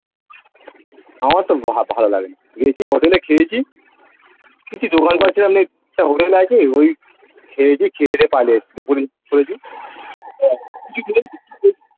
আমার তো ভালো লাগে নি গেছি হোটেলে খেয়েছি কিছু দোকান পাচ্ছিলাম না একটা হোটেল আছে ওই খেয়েছি খেয়ে দেয়ে পালিয়ে এসেছি দুপুর করেছি .